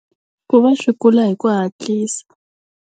Ku va swi kula hi ku hatlisa.